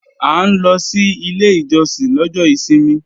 À ń lọ sí ilé ìjọsìn lọ́jọ́ ìsinmi